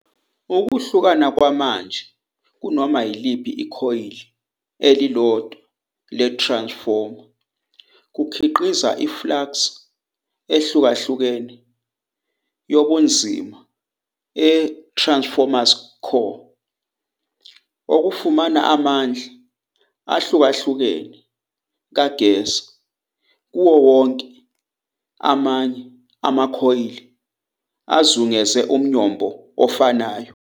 Ukuhlukahluka kwamanje kunoma yiliphi ikhoyili elilodwa le-transformer kukhiqiza i-flux ehlukahlukene yobunzima e-Transformer's Core, okufumana amandla ahlukahlukene kagesi kuwo wonke amanye amakhoyili azungeze umnyombo ofanayo.